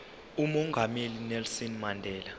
umongameli unelson mandela